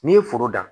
N'i ye foro dan